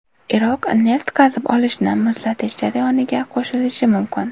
Iroq neft qazib olishni muzlatish jarayoniga qo‘shilishi mumkin.